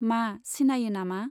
मा, सिनायो नामा ?